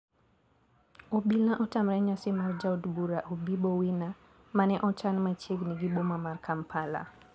obila otamre nyasi mar jaod bura obibo Wina mane ochan machiegni gi boma mar Kampala.